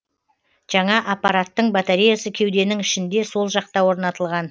жаңа аппараттың батареясы кеуденің ішінде сол жақта орнатылған